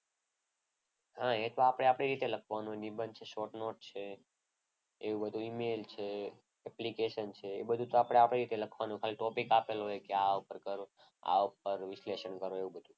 હા એ તો આપણે આપણી રીતે લખવાનું હોય નિબંધ છે એ short note છે. એવું બધું EMAIL છે application છે એ તો આપણી રીતે લખવાનું હોય ટોપીક આપેલો હોય કે આના ઉપર કરો. આ ઉપર વિશ્લેષણ કરો એવું બધું.